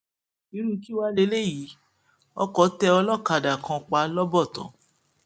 irú kí wàá lélẹyìí ọkọ tẹ ọlọkadà kan pa lọbọtọ